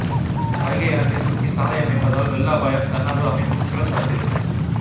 வைகை ஆற்றை சுருக்கி சாலை அமைப்பதால் வெள்ள அபாயம்தன்னாா்வ அமைப்பு குற்றச்சாட்டு